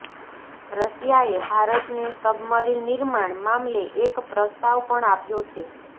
રશિયાએ ભારતને સબમરીન નિર્માણ મામલે એક પ્રસ્તાવ પણ આપ્યો છે